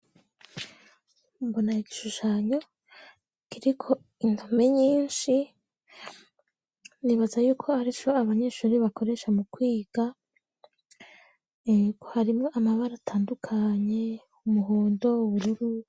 Mbona igishushanyo kiriko indome nyinshi nibaza yuko arico abanyeshuri bakoresha mu kwiga harimwo amabara atandukanye umuhondo ,ubururu.